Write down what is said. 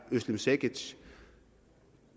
özlem cekics